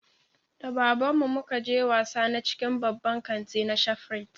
Da baban mu muka je wasa na cikin baban kanti na shafrit